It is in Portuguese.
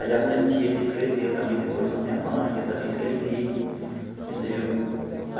Aí a minha tia ainda escreveu também depois para a minha mãe, e eu também escrevi, entendeu?